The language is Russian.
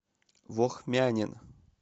вохмянин